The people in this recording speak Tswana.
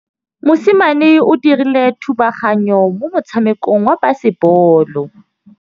Mosimane o dirile thubaganyô mo motshamekong wa basebôlô.